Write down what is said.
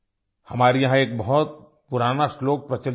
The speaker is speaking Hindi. हमारे यहाँ एक बहुत पुराना श्लोक प्रचलित है